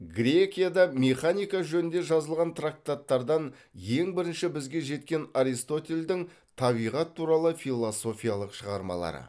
грекияда механика жөнінде жазылған трактаттардан ең бірінші бізге жеткен аристотельдің табиғат туралы философиялық шығармалары